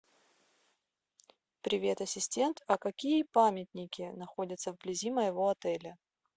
привет ассистент а какие памятники находятся вблизи моего отеля